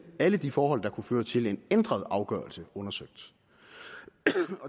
alle de forhold der kunne føre til en ændret afgørelse undersøgt